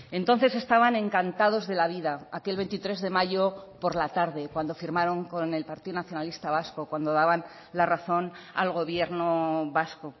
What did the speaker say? entonces estaban encantados de la vida aquel veintitrés de mayo por la tarde cuando firmaron con el partido nacionalista vasco cuando daban la razón al gobierno vasco